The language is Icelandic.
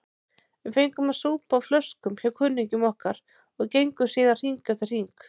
Við fengum að súpa á flöskum hjá kunningjum okkar og gengum síðan hring eftir hring.